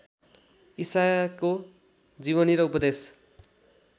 ईसाको जीवनी र उपदेश